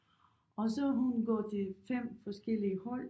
Og så hun går til 5 forskellige hold